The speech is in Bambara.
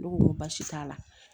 Ne ko baasi t'a la